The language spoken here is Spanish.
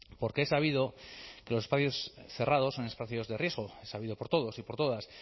porque es sabido que los espacios cerrados son espacios de riesgo es sabido por todos y por todas